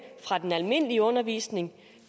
fra den almindelige undervisning